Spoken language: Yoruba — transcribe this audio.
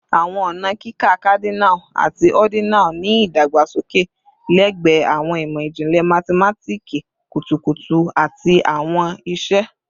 Awọn ọna kika Cardinal ati ordinal ni idagbasoke lẹgbẹẹ awọn imọ-jinlẹ mathematiki kutukutu ati awọn iṣe